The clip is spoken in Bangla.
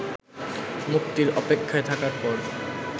মুক্তির অপেক্ষায় থাকার পর